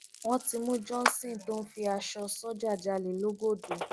wọn ti mú johnson tó ń fi aṣọ sójà jálẹ lọgọdú